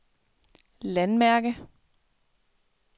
landmærke